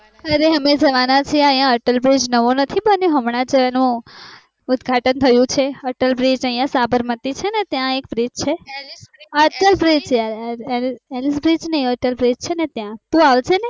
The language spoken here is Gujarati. અરે અમે જવાના છીએ યા અટલ bridge નવો નથી બન્યો હમણાં એનું ઉદ્ઘાટન થયું છે અટલ bridge યા સાબરમતી છે ને ત્યાં એક bridge અટલ bridge છે ત્યાં તું અવ્જેને